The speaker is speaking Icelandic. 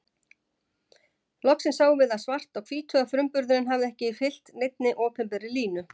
Loksins sáum við það svart á hvítu að frumburðurinn hafði ekki fylgt neinni opinberri línu.